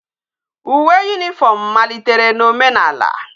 Uwe uniform malitere na omenala